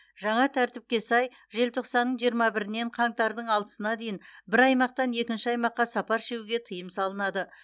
жаңа тәртіпке сай желтоқсанның жиырма бірінен қаңтардың алтысына дейін бір аймақтан екінші аймаққа сапар шегуге тыйым салынады